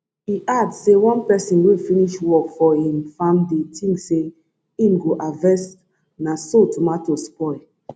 e add say one pesin wey finish work for im farmdey tink say im go harvest na so tomato spoil